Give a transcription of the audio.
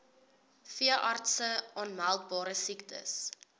veeartse aanmeldbare siektes